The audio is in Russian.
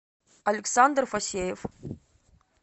александр фасеев